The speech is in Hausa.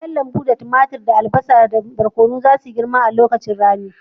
Kayan lambu kamar tumatir, barkono, da albasa za su yi girma sosai a lokacin rani.